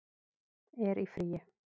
er í fríi